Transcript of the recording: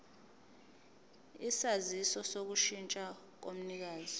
isaziso sokushintsha komnikazi